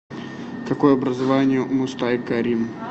какое образование у мустай карим